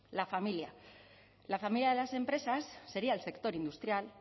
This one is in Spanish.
la familia la familia de las empresas sería el sector industrial